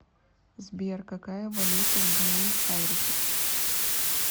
сбер какая валюта в буэнос айресе